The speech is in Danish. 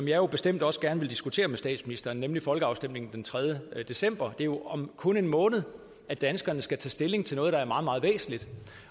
jo bestemt også gerne vil diskutere med statsministeren nemlig folkeafstemningen den tredje december det er jo om kun en måned at danskerne skal tage stilling til noget der er meget meget væsentligt